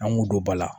An k'u don ba la